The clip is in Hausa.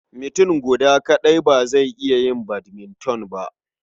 Mutum guda kaɗai ba zai iya yin badminton ba.